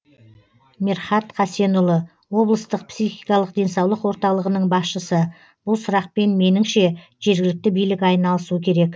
мерхат хасенұлы облыстық психикалық денсаулық орталығының басшысы бұл сұрақпен меніңше жергілікті билік айналысу керек